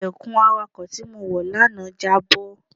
Ilẹ̀kùn awàkọ̀ tí mo wọ lánàá jábọ́.